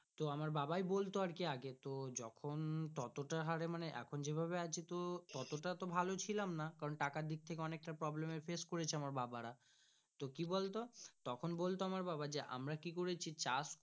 তো আমার বাবাই বলতো আর কি যখন তত টা হরে মানে এখন যেভাবে আছি তো তাতো টা ভালো চিলম না কারণ টাকার দিকথেকে অনেক টা problem এ face করে ছে আমার বাবা রা তো কি বলতো তখন বলতো আমার বাবা যে আমরা কি করেছি চাষ।